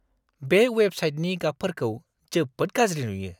बे वेबसाइटनि गाबफोरखौ जोबोद गाज्रि नुयो।